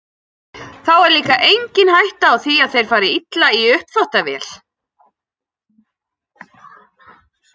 Þá er líka engin hætta á því að þeir fari illa í uppþvottavél.